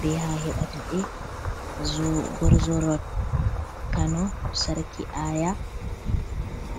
be ha a heɓata ɓe gorzoro rot kano sarki aya.